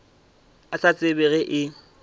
a sa tsebe ge e